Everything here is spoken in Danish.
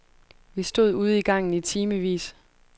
Vi stod ude i gangen i timevis.